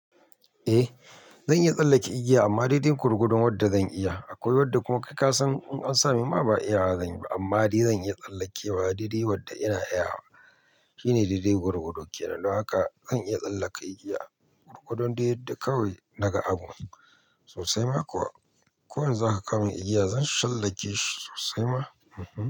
Eh zan iya tsallake igiya amma dai dai gwargwadon wadda zan iya akwai wadda kuma kai ka san in an samin ma ba a iya zanyi ba amma dai zan iya tsallakewa dai dai wadda ina iya wa shine dai dai gwargwado kenan don haka zan iya tsallaka igiya, gwargwadon dai yadda kawai daga abun sosai ma kuwa ko yanzu zaka kawo min igiya zan shan tsallake shi sosai ma.